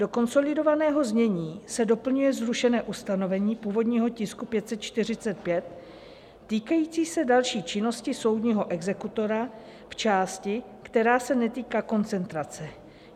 Do konsolidovaného znění se doplňuje zrušené ustanovení původního tisku 545 týkající se další činnosti soudního exekutora v části, která se netýká koncentrace.